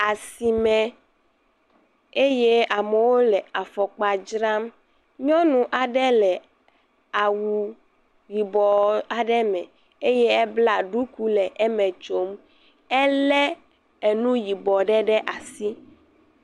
Asime eye amewo le afɔkpa dzram. Nyɔnu aɖe le awu yibɔɔ aɖe me eye ebla ɖuku le eme tsom. Elɛ enu yibɔ ɖe ɖe asi.